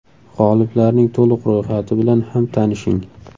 G‘oliblarning to‘liq ro‘yxati bilan ham tanishing.